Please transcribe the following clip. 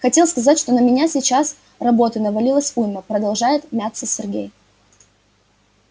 хотел сказать что на меня сейчас работы навалилось уйма продолжает мяться сергей